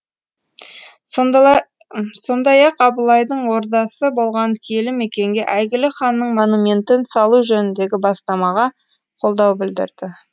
сондай ақ абылайдың ордасы болған киелі мекенге әйгілі ханның монументін салу жөніндегі бастамаға қолдау білдірді